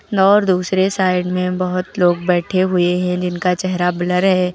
और दूसरे साइड में बहुत लोग बैठे हुए हैं जिनका चेहरा ब्लर है।